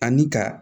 Ani ka